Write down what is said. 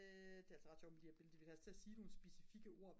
det er altså ret sjovt med de her billeder de vil have os til at sige nogle specifikke ord